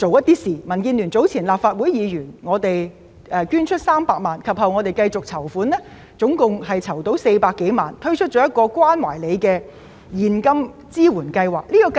早前民建聯立法會議員捐出300萬元，其後繼續籌款，合共籌得400多萬元，推出一項"關懷您"現金支援計劃。